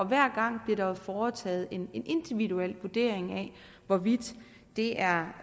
hver gang bliver der jo foretaget en individuel vurdering af hvorvidt det er